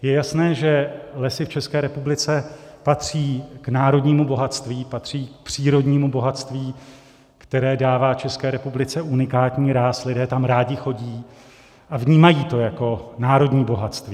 Je jasné, že lesy v České republice patří k národnímu bohatství, patří k přírodnímu bohatství, které dává České republice unikátní ráz, lidé tam rádi chodí a vnímají to jako národní bohatství.